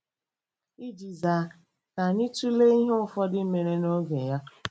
Iji zaa, ka anyị tụlee ihe ụfọdụ mere n'oge ya.